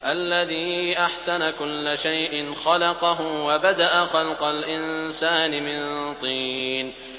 الَّذِي أَحْسَنَ كُلَّ شَيْءٍ خَلَقَهُ ۖ وَبَدَأَ خَلْقَ الْإِنسَانِ مِن طِينٍ